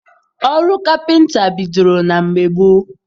Ọrụ kapịnta bidoro na mgbe gboo.